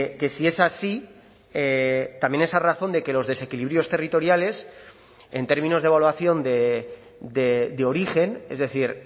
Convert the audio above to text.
que si es así también esa razón de que los desequilibrios territoriales en términos de evaluación de origen es decir